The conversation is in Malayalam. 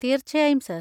തീർച്ചയായും, സർ.